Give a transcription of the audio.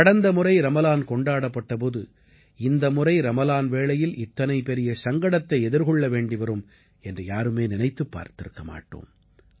கடந்த முறை ரமலான் கொண்டாடப்பட்ட போது இந்த முறை ரமலான் வேளையில் இத்தனை பெரிய சங்கடத்தை எதிர்கொள்ள வேண்டி வரும் என்று யாருமே நினைத்துப் பார்த்திருக்க மாட்டோம்